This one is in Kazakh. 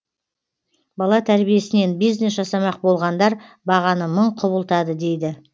бала тәрбиесінен бизнес жасамақ болғандар бағаны мың құбылтады дейді